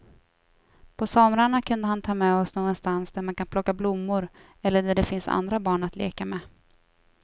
På somrarna kunde han ta med oss någonstans där man kan plocka blommor eller där det finns andra barn att leka med.